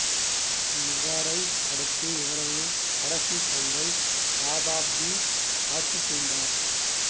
இவரை அடுத்து இவரது கடைசித் தங்கை ராதாஃபதி ஆட்சி புரிந்தார்